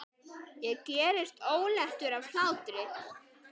Ég gerist óléttur af hlátri.